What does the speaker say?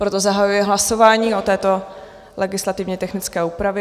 Proto zahajuji hlasování o této legislativně technické úpravě.